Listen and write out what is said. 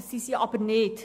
Das sind sie aber nicht.